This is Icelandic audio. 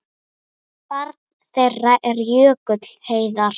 Barn þeirra er Jökull Heiðar.